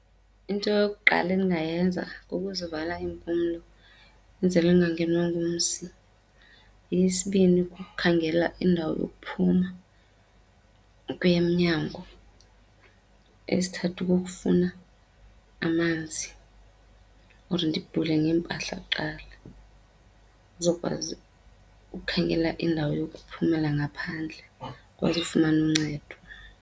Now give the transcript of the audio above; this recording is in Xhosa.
Into yokuqala endingayenza kukuzivala iimpumlo enzele ndingangenwa ngumsi. Eyesibini, kukukhangela indawo yokuphuma, ukuya emnyango. Eyesithathu, kukufuna amanzi or ndibhule ngeempahla kuqala ndizokwazi ukukhangela indawo yokuphumela ngaphandle ndikwazi ufumana uncedo.